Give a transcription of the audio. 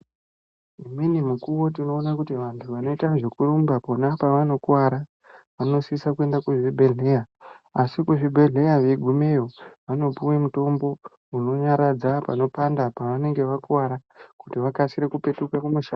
Imweni mukuwo tinoona kuti anhu anoite zvekurumba akona pavankkuvara anosise kuende kuzvibhedhleya asi kuzvibhdhleya veigumeyo vanopuwe mutombo unonyaradza panopanda paanenge vakuwara kuti vakasire kupetuke kumushando.